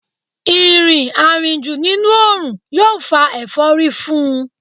Ìrìn àrìnjù nínú òòrùn yóò fa ẹ̀fọ́rí fún un